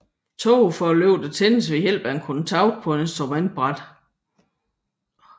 Tågeforlygterne tændes ved hjælp af en kontakt på instrumentbrættet